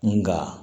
Nga